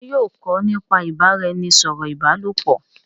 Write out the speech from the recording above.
ṣe yóò kọ nípa ibaraẹnisọrọ ìbálòpọ̀?